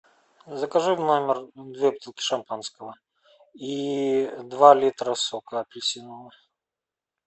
закажи в номер две бутылки шампанского и два литра сока апельсинового